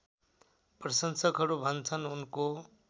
प्रशंसकहरू भन्छन् उनको